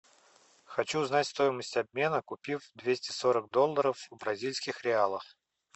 хочу узнать стоимость обмена купив двести сорок долларов в бразильских реалах